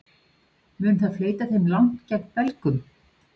Mun það fleyta þeim langt gegn Belgum?